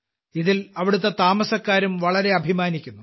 ഇതിൽ അവിടത്തെ താമസക്കാരും വളരെ അഭിമാനിക്കുന്നു